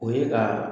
O ye ka